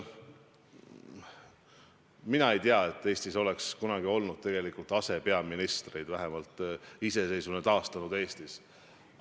Mina ei tea, et Eestis oleks kunagi olnud asepeaministreid, vähemalt iseseisvuse taastanud Eestis.